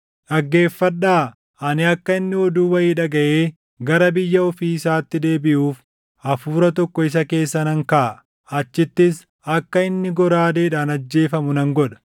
Dhaggeeffadhaa! Ani akka inni oduu wayii dhagaʼee gara biyya ofii isaatti deebiʼuuf hafuura tokko isa keessa nan kaaʼa; achittis akka inni goraadeedhaan ajjeefamu nan godha.’ ”